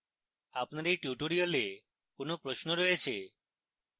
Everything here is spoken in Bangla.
আপনার এই টিউটোরিয়ালে কোনো প্রশ্ন রয়েছে